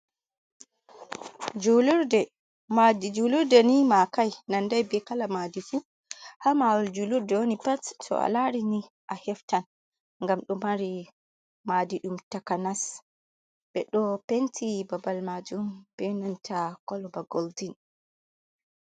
Julurde. Maadi julurde ni makai, nandai be kala madifu Hababal julurde woni pat to a larini a heftan, ngam ɗo mari maadi ɗum takanas. Ɓe ɗo penti babal majum benanta koloba gooldin.